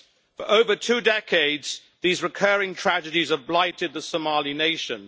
For over two decades, these recurring tragedies have blighted the Somali nation.